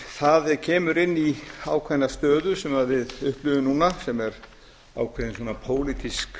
það kemur inn í ákveðna stöðu sem við upplifum núna sem er ákveðin pólitísk